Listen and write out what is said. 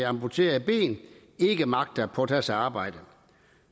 amputeret et ben ikke magter at påtage sig arbejde